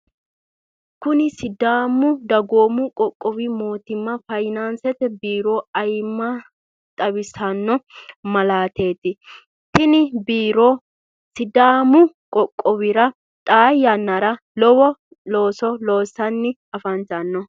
kuni sidaamu dagoomu qoqqowi mootimma fayinansete biiro ayimma xawisano malateeti. tini biiro sidaamu qoqqowira xaa yannara lowo looso loosanni afantanno.